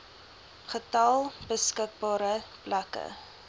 getal beskikbare plekke